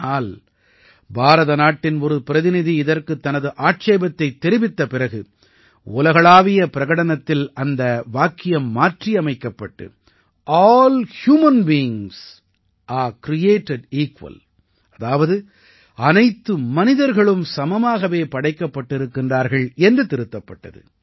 ஆனால் பாரத நாட்டின் ஒரு பிரதிநிதி இதற்குத் தனது ஆட்சேபத்தைத் தெரிவித்த பிறகு உலகளாவிய பிரகடனத்தில் அந்த வாக்கியம் மாற்றியமைக்கப்பட்டு all human beings are created equal அதாவது அனைத்து மனிதர்களும் சமமாகவே படைக்கப்பட்டிருக்கிறார்கள் என்று திருத்தப்பட்டது